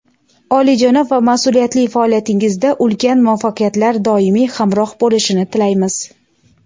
oliyjanob va mas’uliyatli faoliyatingizda ulkan muvaffaqiyatlar doimiy hamroh bo‘lishini tilaymiz.